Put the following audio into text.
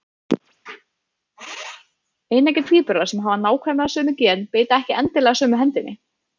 Eineggja tvíburar sem hafa nákvæmlega sömu gen beita ekki endilega sömu hendinni.